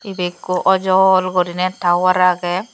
ibe ekko ojol gurine tower agey.